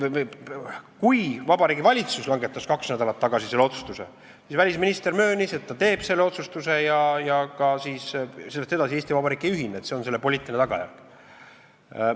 Kui Vabariigi Valitsus langetas kaks nädalat tagasi selle otsustuse, siis välisminister möönis, et ta teeb selle otsustuse ja sellest edasi on nii, et Eesti Vabariik ei ühine, see on selle poliitiline tagajärg.